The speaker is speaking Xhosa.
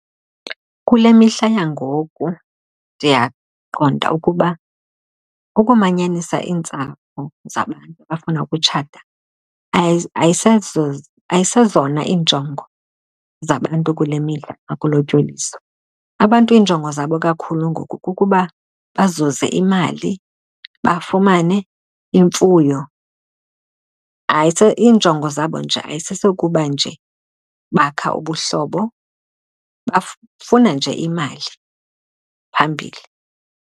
Kule mihla yangoku ndiyaqonda ukuba ukumanyanisa iintsapho zabantu abafuna ukutshata ayisezona iinjongo zabantu kule mihla xa kulotyoliswa. Abantu iinjongo zabo kakhulu ngoku kukuba bazuze imali, bafumane imfuyo. Iinjongo zabo nje ayisesokuba nje bakha ubuhlobo, bafuna nje imali phambili.